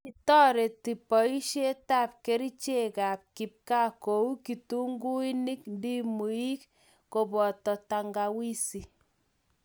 kitoretu boisietab kerchekab kibgaa kou kitunguinik, ndimuik koboto tangawizi